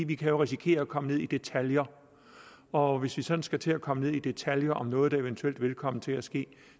vi kan jo risikere at komme ned i detaljer og hvis vi sådan skal til at komme ned i detaljer om noget der eventuelt vil komme til at ske